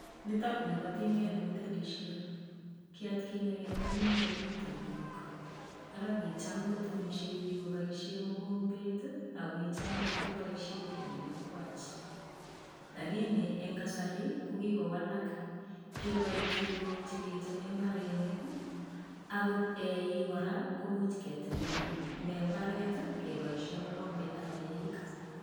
Nitokni ko tinket nekitemishe. Ki atkinye keny ko kimakomi tinkok ara kicham kotemishe biik kobaishee mikombet ako kicham kobaishe eunekwach lakini eng' kasari ko kikowalak. Kikoit tingok cheketeme mbarenik, akot eik kora komuch keteme mbaret kebaishe mokombetab eik.